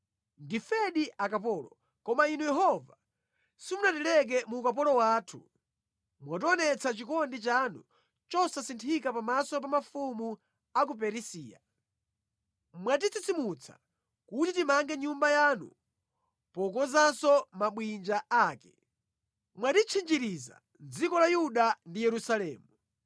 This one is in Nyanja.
Ndifedi akapolo. Koma Inu Yehova simunatileke mu ukapolo wathu. Mwationetsa chikondi chanu chosasinthika pamaso pa mafumu a ku Perisiya. Mwatitsitsimutsa kuti timange Nyumba yanu pokonzanso mabwinja ake. Mwatitchinjiriza mʼdziko la Yuda ndi Yerusalemu.